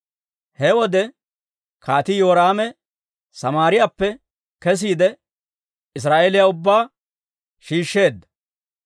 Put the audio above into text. He wode Kaatii Yoraame Samaariyaappe kesiide, Israa'eeliyaa ubbaa shiishsheedda.